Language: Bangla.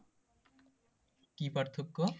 কি পার্থক্য?